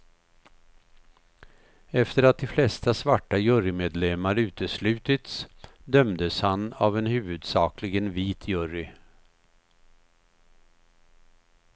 Efter att de flesta svarta jurymedlemmar uteslutits dömdes han av en huvudsakligen vit jury.